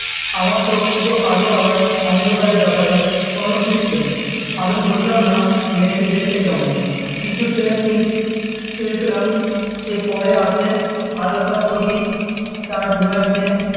আমার চোখ শুধু এল আর অন্ধকারের ব্যাপারে অনুভূতিশীল, আমি বুঝলাম না মেয়েটি দেখতে কেমন কিছু টের কিন্~ টের পেলাম সে পড়ে আছে হালকা চটি তার গোড়ালিতে